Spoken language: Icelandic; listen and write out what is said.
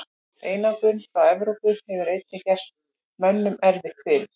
Einangrun frá Evrópu hefur einnig gert mönnum erfitt fyrir.